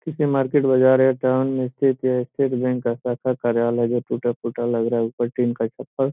किसी मार्केट बाजार है टाउन में स्थित स्टेट बैंक का शाखा कार्यालय जो टूट-फूटा लग रहा है ऊपर टिन का छप्पर --